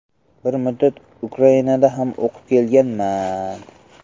Bir muddat Ukrainada ham o‘qib kelganman.